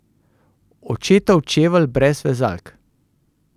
Očetov čevelj brez vezalk.